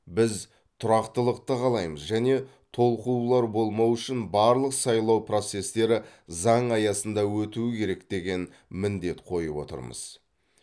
біз тұрақтылықты қалаймыз және толқулар болмауы үшін барлық сайлау процестері заң аясында өтуі керек деген міндет қойып отырмыз